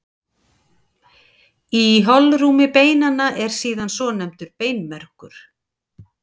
Í holrúmi beinanna er síðan svonefndur beinmergur.